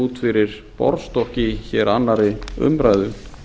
út fyrir borðstokk í annarri umræðu